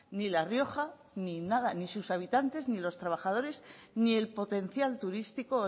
ni la rioja ni nada ni sus habitantes ni los trabajadores ni el potencial turístico o